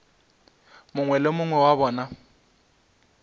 mongwe le mongwe wa bona